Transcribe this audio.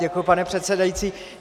Děkuji, pane předsedající.